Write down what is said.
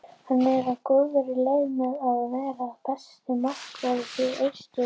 Hann er á góðri leið með að verða besti markvörður Austurríkis.